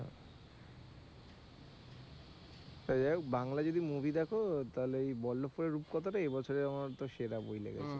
তা যাই হোক বাংলা যদি movie দেখো তাহলে ওই বল্লভপুরের রূপকথা টা এ বছরে আমার তো সেরা বই লেগেছে,